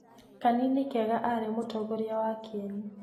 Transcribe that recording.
Kanini Kega aarĩ mũtongoria wa Kĩeni.